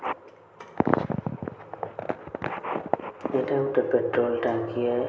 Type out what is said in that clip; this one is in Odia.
ଏଟା ଗୋଟେ ପେଟ୍ରୋଲ ଟାଙ୍କି ଏ --